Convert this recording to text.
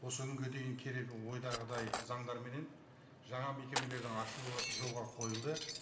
осы күнге дейін керегі ойдағыдай заңдарменен жаңа мекемелердің ашылуы жолға қойылды